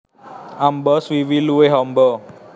Amba swiwi luwih amba